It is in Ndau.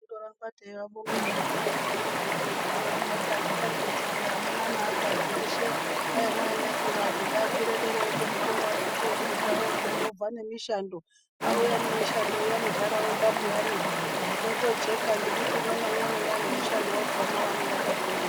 Tinondoramba teivabonga zvedu vehurumende yedu avakati atichaketi amuna neaakadzi eshe Paine anayakura antu ngaakwire derayo kuzvikorayo aende kofunda obveyo obva nemishando auya nemishando iya muntaraunda peyanimotojeka ngekuti umwe naumwe unenge ane nemushando wake waakafundira.